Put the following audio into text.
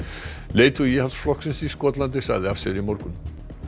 leiðtogi Íhaldsflokksins í Skotlandi sagði af sér í morgun